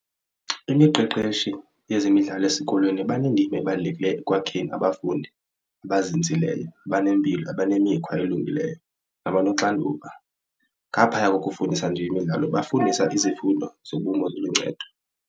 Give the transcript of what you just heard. Imiqeqeshi yezemidlalo esikolweni banendima ebalulekileyo ekwakheni abafundi abazinzileyo abanempilo abanemikhwa elungileyo nabanoxanduva. Ngaphaya kokufundisa nje imidlalo bafundisa izifundo zobomi ziluncedo.